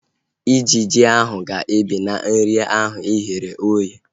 Ijiji ahu ga-ebe na nri ahu ighere oghe